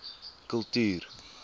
kultuur